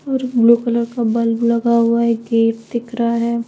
और blue colour का bulb लगा हुआ है गेट दिख रहा है।